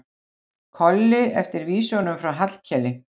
Kolli eftir vísunum frá Hallkeli.